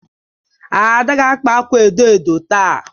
Ada ga-akpa akwa edo edo taa